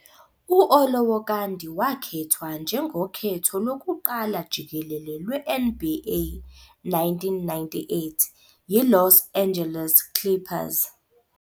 U-Olowokandi wakhethwa njengokhetho lokuqala jikelele lwe- NBA 1998 yiLos Angeles Clippers.